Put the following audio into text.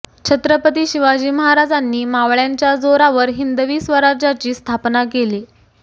छत्रपती शिवाजी महाराजांनी मावळय़ांच्या जोरावर हिंदवी स्वराज्याची स्थापना केली